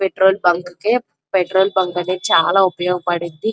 Petrol bunk కి petrol bunk అనేది చాలా ఉపయోగపడింది.